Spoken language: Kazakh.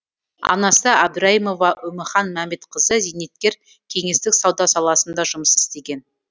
анасы әбдірайымова үміхан мәмедқызы зейнеткер кеңестік сауда саласында жұмыс істеген